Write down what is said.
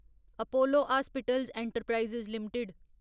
Apollo hospitals enterprise limited